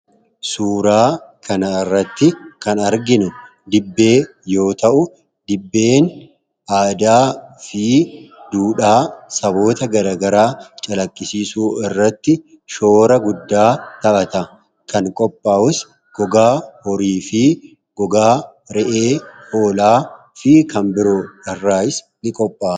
suuraa kana irratti kan arginu dibbee yoo ta'u dibbeen aadaa fi duudhaa saboota garagaraa calakkisiisuu irratti shoora guddaa ta'ata kan qophaawus gogaa horii fi gogaa re’ee olaa fi kanbiroo araas ni qophaa